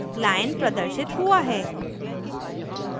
lion प्रदर्शित हुआ है